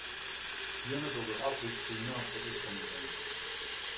Pigerne dukkede op lidt senere på eftermiddagen.